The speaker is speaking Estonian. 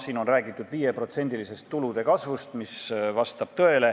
Siin on räägitud 5% suurusest tulude kasvust, mis vastab tõele.